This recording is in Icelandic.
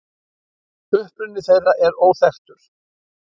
Uppruni þeirra er óþekktur.